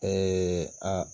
Ee a